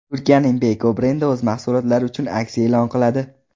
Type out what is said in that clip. Turkiyaning Beko brendi o‘z mahsulotlari uchun aksiya e’lon qiladi.